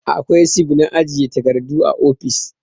Akwai sif na ajiye takardu a ofis